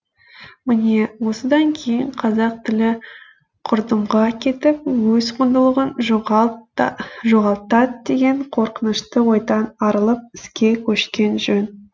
міне осыдан кейін қазақ тілі құрдымға кетіп өз құндылығын жоғалтат деген қорқынышты ойдан арылып іске көшкен жөн